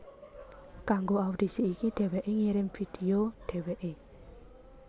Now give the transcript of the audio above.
Kanggo audisi iki dhéwéké ngirim video dhéwéké